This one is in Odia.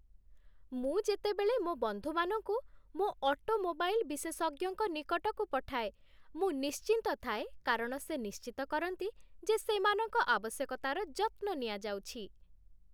ମୁଁ ଯେତେବେଳେ ମୋ ବନ୍ଧୁମାନଙ୍କୁ ମୋ ଅଟୋମୋବାଇଲ୍ ବିଶେଷଜ୍ଞଙ୍କ ନିକଟକୁ ପଠାଏ, ମୁଁ ନିଶ୍ଚିନ୍ତ ଥାଏ କାରଣ ସେ ନିଶ୍ଚିତ କରନ୍ତି ଯେ ସେମାନଙ୍କ ଆବଶ୍ୟକତାର ଯତ୍ନ ନିଆଯାଉଛି।